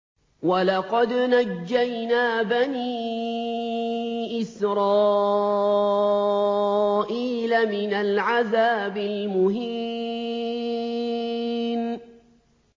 وَلَقَدْ نَجَّيْنَا بَنِي إِسْرَائِيلَ مِنَ الْعَذَابِ الْمُهِينِ